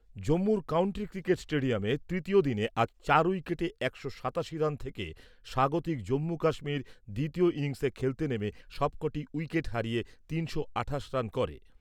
জম্মু'র county cricket স্টেডিয়ামে তৃতীয় দিনে আজ চার উইকেটে একশো সাতাশি রান থেকে স্বাগতিক জম্মু কাশ্মীর দ্বিতীয় ইনিংসে খেলতে নেমে সবক'টি উইকেট হারিয়ে তিনশো আঠাশ রান করে।